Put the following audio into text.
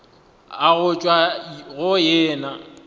a go tšwa go yena